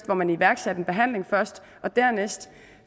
hvor man iværksatte en behandling først og dernæst